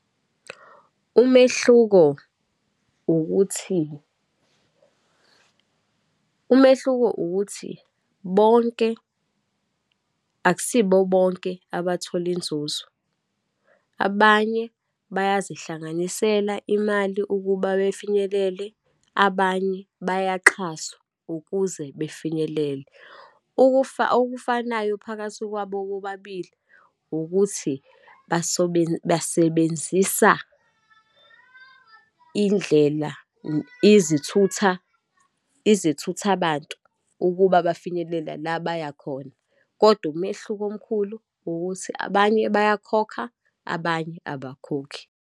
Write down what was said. Umehluko ukuthi, umehluko ukuthi bonke akusibo bonke abathole inzuzo, abanye bayazihlanganisela imali ukuba befinyelele, abanye bayaxhaswa ukuze befinyelele. Ukufa, okufanayo phakathi kwabo bobabili, ukuthi basebenzisa indlela izithutha, izithuthabantu ukuba bafinyelela la bayakhona. Kodwa umehluko omkhulu ukuthi abanye bayakhokha abanye abakhokhi.